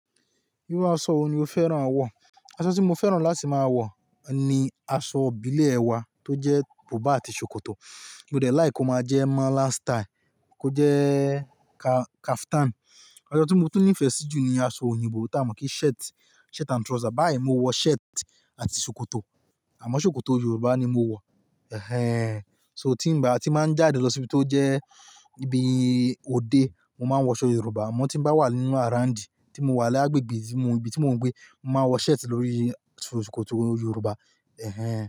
Irú aṣọ wo ni o fẹ́ran wọ? Aṣọ tí mo fẹ́ran láti máa wọ ni aṣọ ìbílẹ̀ ẹ wa tó jẹ́ buba àti ṣòkòtò, ìmọdlẹ́ lìke ko máa jẹ́ mala style kó jẹ́ ka-kaftan. Aṣọ tí mo túní ìfẹ sí jù ni aṣọ òyìnbó tí a mọ̀ pé shirt, shirt and trouser. Báyìí mó wọ shirt àti ṣòkòtò, àmọ́ ṣòkòtò Yorùbá ni mo wọ. Ẹ̀hẹn. So tí n bá, tí máa ń jáde lọ sí ibi tó jẹ́ ibi òde, mo máa wọ aṣọ Yorùbá. Àmọ́ tí n bá wà nínú arouńdì, tí mo wà lágbègbè ibi tí mò ń gbé, mo máa wọ shirt lórí ṣòkòtò Yorùbá. Ẹ̀hẹn.